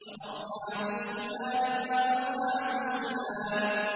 وَأَصْحَابُ الشِّمَالِ مَا أَصْحَابُ الشِّمَالِ